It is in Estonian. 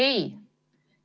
Ei!